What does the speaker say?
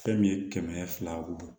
Fɛn min ye kɛmɛ fila wɔɔrɔ